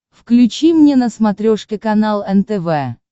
включи мне на смотрешке канал нтв